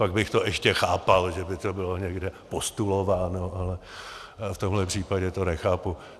Pak bych to ještě chápal, že by to bylo někde postulováno, ale v tomhle případě to nechápu.